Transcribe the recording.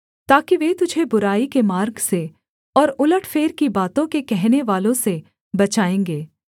ताकि वे तुझे बुराई के मार्ग से और उलटफेर की बातों के कहनेवालों से बचायेंगे